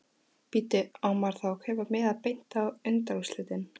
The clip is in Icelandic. Bíddu. á maður þá að kaupa miða beint á undanúrslitin?